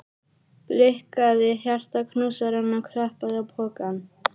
Blikkaði hjartaknúsarann og klappaði á pokann.